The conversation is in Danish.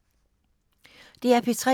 DR P3